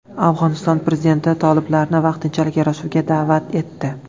Afg‘oniston prezidenti toliblarni vaqtinchalik yarashuvga da’vat etdi.